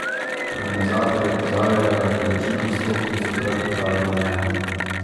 Organizatorji opozarjajo, da je količina vstopnic v predprodaji omejena.